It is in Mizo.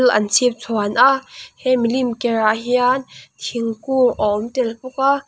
thil an chhipchhuan a he milim kerah hian thingkung a awm tel bawk a.